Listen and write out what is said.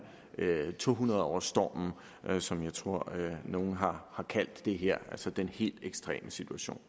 tohundredårsstormen som jeg tror at nogen har kaldt det her altså den helt ekstreme situation